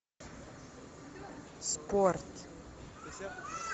спорт